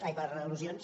ai per al·lusions